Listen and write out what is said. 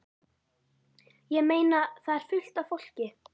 Ég meina. það er fullt af fólki.